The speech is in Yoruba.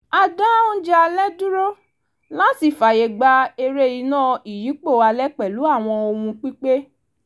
a dá oúnjẹ alẹ́ dúró làti fàyè gba eré iná ìyípo alẹ́ pẹ̀lú àwọn ohùn-pípè